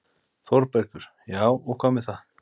ÞÓRBERGUR: Já, og hvað með það?